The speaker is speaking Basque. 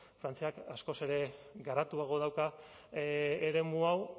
frantziak askoz ere garatuago dauka eremu hau